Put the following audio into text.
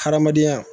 Hadamadenya